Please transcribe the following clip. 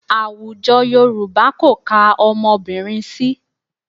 Àwọn Yorùbá kò ka ọmọbìnrin sí.